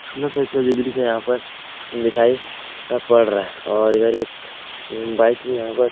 सुन्दर सा इसका जो दृश्य हैयहाँ पर दिखाई पर रहा है और इधर एक बाइक भी यहाँ पर --